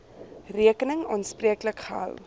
rekening aanspreeklik gehou